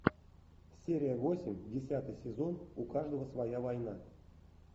серия восемь десятый сезон у каждого своя война